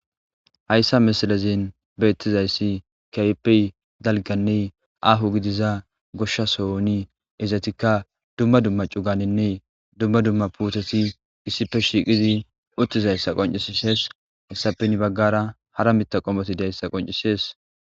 Haysa milezan betizaysi kehippe dalganne aho gidida goshshasohon izzeti dumma dumma c'ugatane dumma dumma putteti issippe shiqidi utidasa qonc'ises. Hesa hen bagara hara Mitha qommoti diyasa qonc'ises.